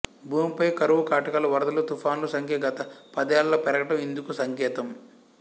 భూమిపై కరవు కాటకాలు వరదలు తుఫానుల సంఖ్య గత పదేళ్లలో పెరగటం ఇందుకు సంకేతం